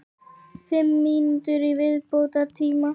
Fimm mínútur í viðbótartíma?